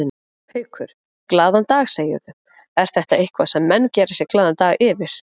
Haukur: Glaðan dag segirðu, er þetta eitthvað sem menn gera sér glaðan dag yfir?